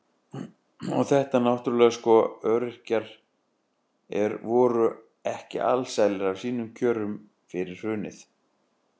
Og þetta náttúrulega sko, öryrkjar voru ekki alsælir af sínum kjörum fyrir hrunið.